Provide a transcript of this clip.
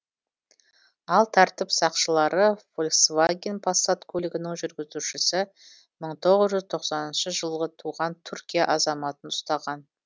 ал тәртіп сақшылары фольксваген пассат көлігінің жүргізушісі мың тоғыз жүз тоқсаныншы жылғы туған түркия азаматын ұстаған